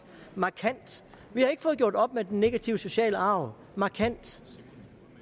markant vi har ikke fået gjort op med den negative sociale arv markant